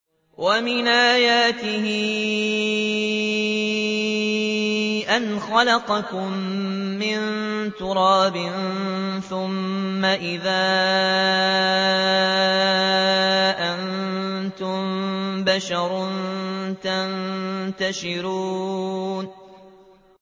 وَمِنْ آيَاتِهِ أَنْ خَلَقَكُم مِّن تُرَابٍ ثُمَّ إِذَا أَنتُم بَشَرٌ تَنتَشِرُونَ